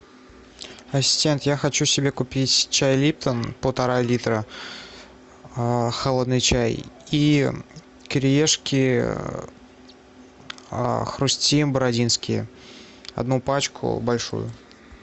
ассистент я хочу себе купить чай липтон полтора литра холодный чай и кириешки хрустим бородинские одну пачку большую